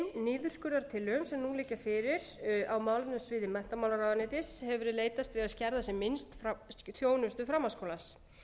niðurskurðartillögum sem nú liggja fyrir á málefnasviði menntamálaráðuneytis hefur verið leitast við að skerða sem minnst af þjónustu framhaldsskólans